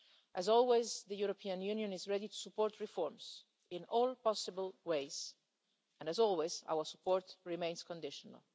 As always, the European Union, is ready to support reforms in all possible ways and as always our support remains conditional.